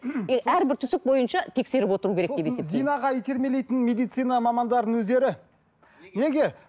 әрбір түсік бойынша тексеріп отыру керек деп есептеймін сосын зинаға итермелейтін медицина мамандарының өздері неге